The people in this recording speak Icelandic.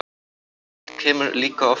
Slíkt kemur líka oft fyrir.